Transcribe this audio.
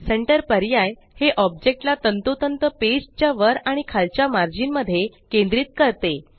centre पर्याय हे object ला तंतोतंत पेज च्या वर आणि खालच्या मर्जीन मध्ये केंद्रित करते